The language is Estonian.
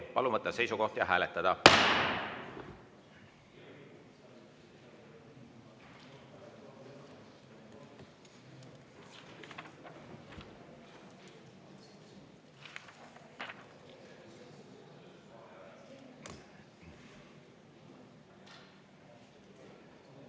Palun võtta seisukoht ja hääletada!